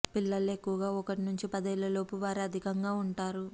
పిల్లల్లో ఎక్కువగా ఒకటి నుంచి పదేళ్లలోపు వారే అధికంగా ఉంటా రు